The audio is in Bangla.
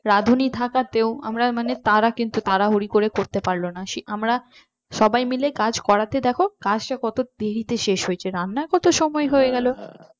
রাধুনী থাকাতেও আমরা মানে তারা কিন্তু তাড়াহুড়ো করে করতে পারলো না সেই আমরা সবাই মিলে কাজ করাতে দেখো কাজটা কত দেরিতে শেষ হয়েছে রান্নায় কত সময় হয়ে গেল